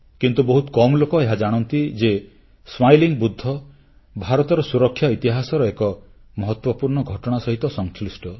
କିନ୍ତୁ ବହୁତ କମ୍ ଲୋକ ଏହା ଜାଣନ୍ତି ଯେ ହସମୁଖ ବୁଦ୍ଧ ଭାରତର ସୁରକ୍ଷା ଇତିହାସର ଏହି ମହତ୍ୱପୂର୍ଣ୍ଣ ଘଟଣା ସହ ସଂଶ୍ଲିଷ୍ଟ